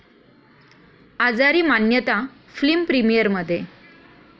आजारी मान्यता फिल्म प्रिमिअरमध्ये!